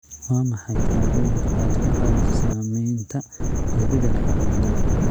Waa maxay tillaabooyinka aad ka qaadeyso saameynta isbeddelka cimilada?